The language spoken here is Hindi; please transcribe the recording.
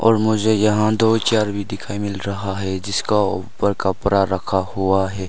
और मुझे यहां दो चेयर भी दिखाई मिल रहा है जिसका ऊपर कपरा रखा हुआ है।